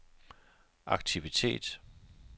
aktivitet